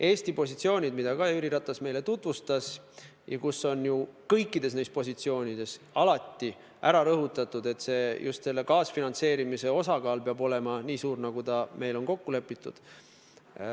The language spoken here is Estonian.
Eesti positsioone ka Jüri Ratas meile tutvustas ja kõikides nendes positsioonides on alati rõhutatud, et just kaasfinantseerimise osakaal peab olema nii suur, nagu ta on kokku lepitud.